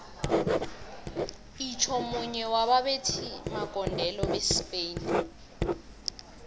itjho munye waba bethi magondelo besi spain